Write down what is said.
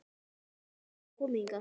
Enginn þeirra hafði komið þangað.